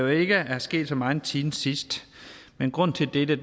ikke er sket så meget siden sidst men grunden til dette